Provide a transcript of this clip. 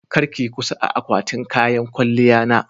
kar ki Yi kusa a akwatin kayan kwalya na.